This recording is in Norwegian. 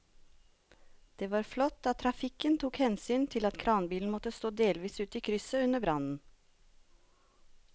Det var flott at trafikken tok hensyn til at kranbilen måtte stå delvis ute i krysset under brannen.